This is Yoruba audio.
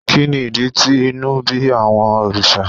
Kí ni ìdí tí inú ń bí àwọn òrìṣà?